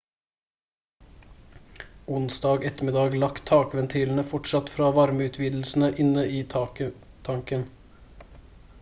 onsdag ettermiddag lakk tankventilene fortsatt fra varmeutvidelse inne i tanken